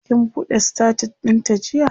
kin buɗe status ɗin ta jiya?